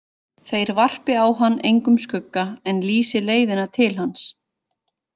Þeir varpi á hann engum skugga en lýsi leiðina til hans.